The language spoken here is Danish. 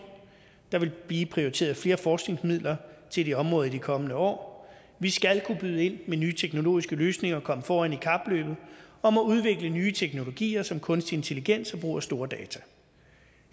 der vil blive prioriteret flere forskningsmidler til det område i de kommende år vi skal kunne byde ind med nye teknologiske løsninger og komme foran i kapløbet om at udvikle nye teknologier som kunstig intelligens og brug af store data